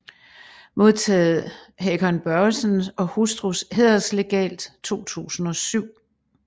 Modtaget Hakon Børresen og hustrus Hæderslegat 2007